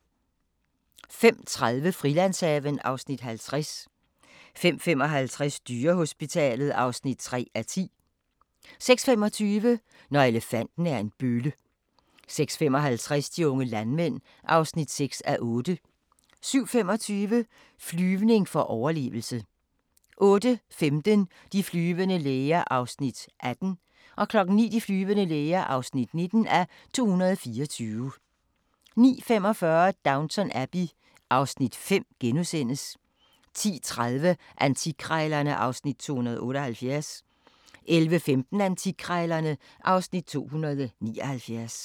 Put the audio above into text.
05:30: Frilandshaven (Afs. 50) 05:55: Dyrehospitalet (3:10) 06:25: Når elefanten er en bølle 06:55: De unge landmænd (6:8) 07:25: Flyvning for overlevelse 08:15: De flyvende læger (18:224) 09:00: De flyvende læger (19:224) 09:45: Downton Abbey (Afs. 5)* 10:30: Antikkrejlerne (Afs. 278) 11:15: Antikkrejlerne (Afs. 279)